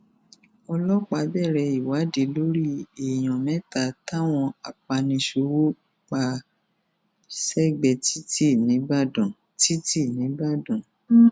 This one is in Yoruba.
ọlọpàá bẹrẹ ìwádìí lórí èèyàn mẹta táwọn apaniṣòwò pa sẹgbẹẹ títí nìbàdàn títí nìbàdàn